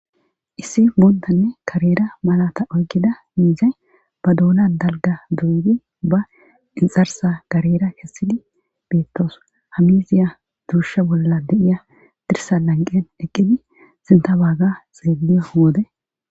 Issi buundanne karera malata oykida miizay ba duuna dalga durudi ba inxarsa karera kessidi beettoos hamiziya duushe bolla de7iya dirsa lanqen eqqidi sinta waaga xeelliyo wode